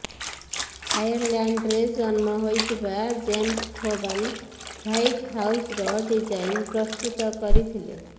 ଆୟରଲ୍ୟାଣ୍ଡରେ ଜନ୍ମ ହୋଇଥିବା James Hoban White ହାଉସର ଡିଜାଇନ୍ ପ୍ରସ୍ତୁତ କରିଥିଲେ